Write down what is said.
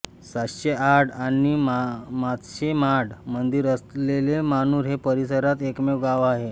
सातशे आड आणि सातशे माड मंदिर असलेले मानूर हे परिसरात एकमेव गाव आहे